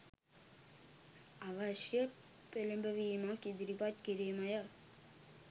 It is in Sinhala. අවශ්‍ය පෙළඹවීමක් ඉදිරිපත් කිරීමය